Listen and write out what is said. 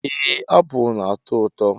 Ee apụl na-ato ụtọ.